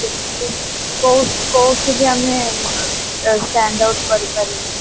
କଉ କଉଠିବି ଆମେ ଅ stand out କରିପାରିବାନି